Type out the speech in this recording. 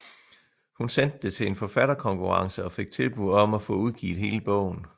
Hun sendte det til en forfatterkonkurrence og fik tilbud om at få udgivet hele bogen